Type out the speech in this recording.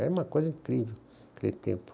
Era uma coisa incrível naquele tempo.